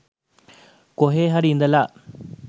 කොහේ හරි ඉඳලා